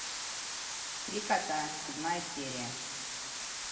три кота седьмая серия